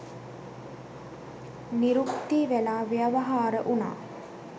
නිරුක්ති වෙලා ව්‍යවහාර වුණා.